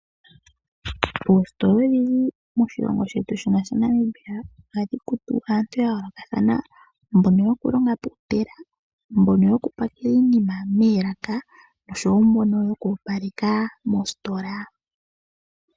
Oositola odhindji moshilongo shetu shaNamibia ohadhi kutu aantu ya yoolokathana ngaashi mbono yokulonga pomashina, mbono yokupakela iinima moolaka noshowo mbono yoku opaleka moositola.